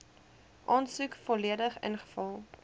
aansoek volledig ingevul